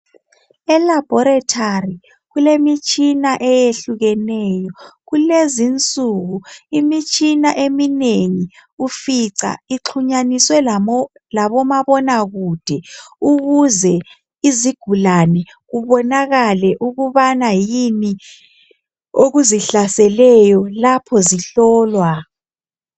ELaboratory kulemitshina eyehlukeneyo. Kulezinsuku imitshina eminengi ufica ixhunyaniswe labomabonakude kuze izigulane kubonakale ukubana yini okuzihlaseleyo lapho zihlolwa.